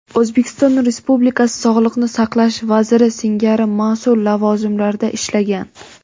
O‘zbekiston Respublikasi sog‘liqni saqlash vaziri singari mas’ul lavozimlarda ishlagan.